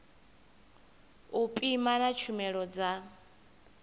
u pima na tshumelo dza